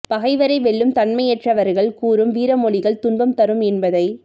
பகைவரை வெல்லும் தன்மையற்றவர்கள் கூறும் வீரமொழிகள் துன்பம் தரும் என்பதை